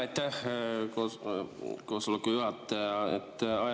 Aitäh, hea koosoleku juhataja!